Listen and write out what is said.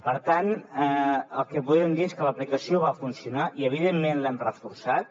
per tant el que podem dir és que l’aplicació va funcionar i evidentment l’hem reforçat